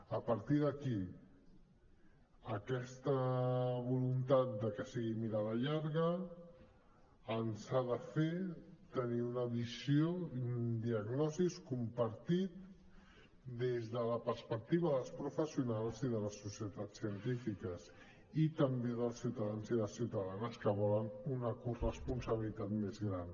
a partir d’aquí aquesta voluntat de que sigui mirada llarga ens ha de fer tenir una visió i una diagnosi compartida des de la perspectiva dels professionals i de les societats científiques i també dels ciutadans i les ciutadanes que volen una corresponsabilitat més gran